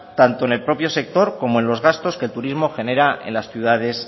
tanto en el propio sector como en los gastos que el turismo genera en las ciudades